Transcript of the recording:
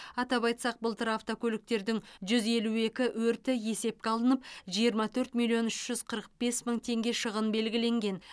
атап айтсақ былтыр автокөліктердің жүз елу екі өрті есепке алынып жиырма төрт миллион үш жүз қырық бес мың теңге шығын белгіленген